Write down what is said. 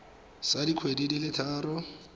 sa dikgwedi di le tharo